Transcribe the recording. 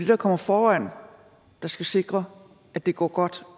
der kommer foran der skal sikre at det går godt